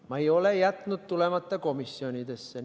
Ma ei ole jätnud komisjonidesse tulemata.